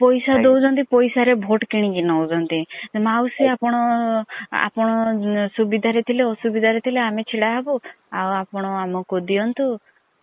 ପଇସା ଦୌଛନ୍ତି ପଇସା ରେ vote କିଣିକି ନୌଛନ୍ତି ମାଉସୀ ଆପଣ ଆପଣ ସୁବିଧା ରେ ଥିଲେ ଆସୁବିଧା ରେ ଥିଲେ ଆମେ ଛିଡା ହେବୁ ଆଉ ଆପଣ ଆମକୁ ଦିଅନ୍ତୁ।